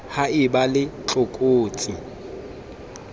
ha e ba le tlokotsi